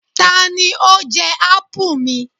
Tani ó jẹ ápù mi?